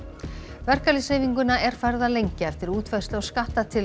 verkalýðshreyfinguna er farið að lengja eftir útfærslu á skattatillögum